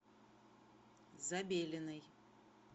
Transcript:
забелиной